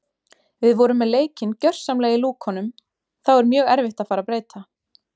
Við vorum með leikinn gjörsamlega í lúkunum þá er mjög erfitt að fara að breyta.